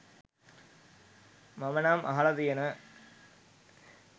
මම නම් අහලා තියෙන